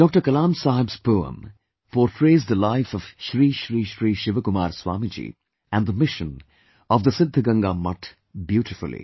Kalam Saheb's poem potrays the life of Shri Shri Shri Shivakumar Swamiji and the mission of the Siddhganga Mutt beautifully